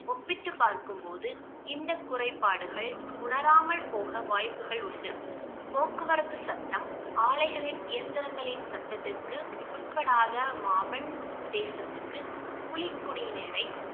ஒப்பிட்டு பார்க்கும்போது இந்த குறைபாடுகள் உணராமல் போக வாய்ப்புகள் உண்டு போக்குவரத்து சத்தம் ஆலைகளின் இயந்திரங்களின் சத்ததிற்கு உட்படாத மாபன் தேசத்திற்கு புலிக்குடியினரை